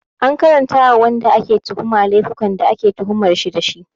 Ana karanta ma wanda ake tuhuma laifukan da ake tuhumar shi dashi